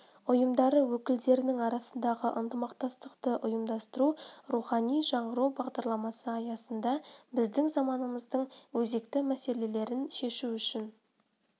ұйымдары өкілдерінің арасындағы ынтымақтастықты ұйымдастыру рухани жаңғыру бағдарламасы аясында біздің заманымыздың өзекті мәселелерін шешу үшін